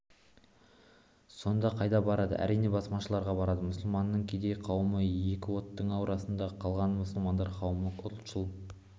сонда қайда барады әрине басмашыларға барады мұсылманның кедей қауымы екі оттың ортасында қалған мұсылман қауымы ұлтшыл